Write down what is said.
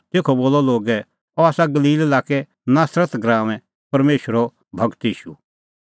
तेखअ बोलअ लोगै अह आसा गलील लाक्के नासरत गराऊंऐं परमेशरो गूर ईशू